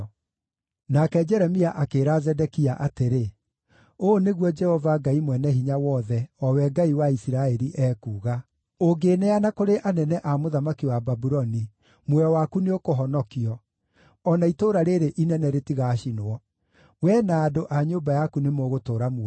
Nake Jeremia akĩĩra Zedekia atĩrĩ, “Ũũ nĩguo Jehova Ngai-Mwene-Hinya-Wothe, o we Ngai wa Isiraeli, ekuuga: ‘Ũngĩĩneeana kũrĩ anene a mũthamaki wa Babuloni, muoyo waku nĩũkũhonokio, o na itũũra rĩĩrĩ inene rĩtigaacinwo; wee na andũ a nyũmba yaku nĩmũgũtũũra muoyo.